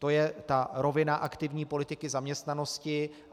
To je ta rovina aktivní politiky zaměstnanosti.